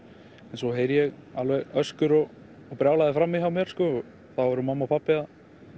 en svo heyri ég alveg öskur og brjálæði frammi hjá mér og þá voru mamma og pabbi að